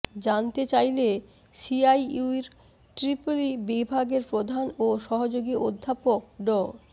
জানতে চাইলে সিআইইউর ট্রিপলই বিভাগের প্রধান ও সহযোগী অধ্যাপক ড